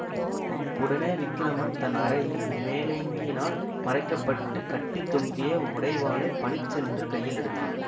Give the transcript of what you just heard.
உடனே விக்கிரமன் தன் அரையில் மேலங்கியினால் மறைக்கப்பட்டுக் கட்டி தொங்கிய உடைவாளைப் பளிச்சென்று கையில் எடுத்தான்